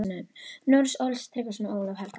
Noregs, Ólaf Tryggvason og Ólaf helga.